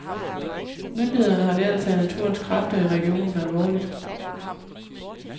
Myndighederne har lært at tage naturens kræfter i regionen alvorligt.